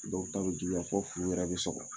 Dɔw ta bɛ juguya fɔ furu yɛrɛ bɛ sɔgɔ